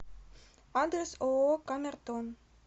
адрес ооо камертон